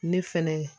Ne fɛnɛ